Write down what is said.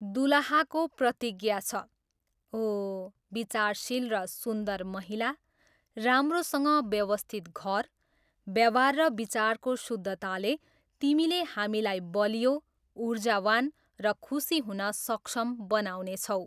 दुलहाको प्रतिज्ञा छ, ओ, विचारशील र सुन्दर महिला, राम्रोसँग व्यवस्थित घर, व्यवहार र विचारको शुद्धताले, तिमीले हामीलाई बलियो, ऊर्जावान र खुशी हुन सक्षम बनाउनेछौ।